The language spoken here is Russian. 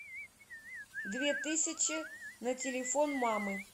две тысячи на телефон мамы